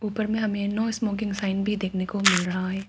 ऊपर में हमें नो स्मोकिंग साइन भी देखने को मिल रहा है।